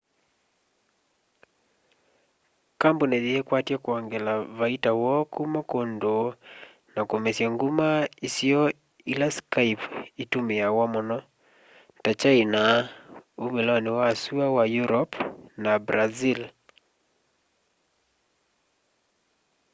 kambuni yiikwatya kwongela vaita woo kuma kundu na kumesya nguma isio ila skype itumiawa muno ta kyaina umiloni wa sua wa europe na brazil